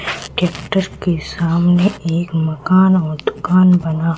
tractor के सामने एक मकान और दुकान बना--